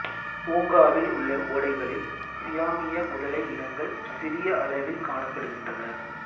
பூங்காவில் உள்ள ஒடைகளில் சியாமிய முதலை இனங்கள் சிறிய அளவில் காணப்படுகின்றன